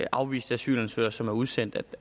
afviste asylansøgere som er udsendt det